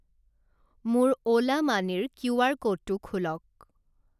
মোৰ অ'লা মানিৰ কিউআৰ ক'ডটো খোলক।